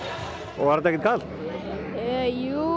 var þetta ekkert kalt jú